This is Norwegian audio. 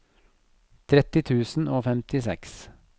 tretti tusen og femtiseks